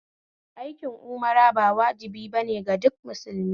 Aikin Umra ba wajibi bane ga duk musulmi